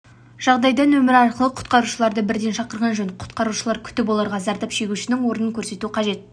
жағдайда нөмірі арқылы құтқарушыларды бірден шақырған жөн құтқарушыларды күтіп оларға зардап шегушінің орнын көрсету қажет